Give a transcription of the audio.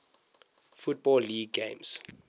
football league games